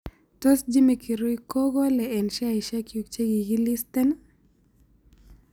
Tos' jimmy kirui kogolee eng' sheaisiekyuk chekigiliisteen